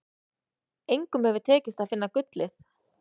Engum hefur tekist að finna gullið.